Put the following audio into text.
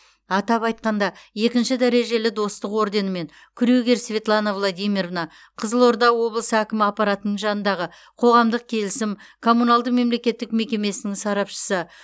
атап айтқанда екінші дәрежелі достық орденімен крюгер светлана владимировна қызылорда облысы әкімі аппаратының жанындағы қоғамдық келісім коммуналды мемлекеттік мекемесінің сарапшысы